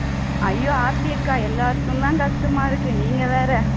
ஐயோ ஆர்த்தி அக்கா எல்லாருக்கும்தான் கஷ்டமா இருக்கு நீங்க வேற